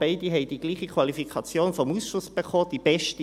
Beide erhielten dieselbe Qualifikation vom Ausschuss, die beste: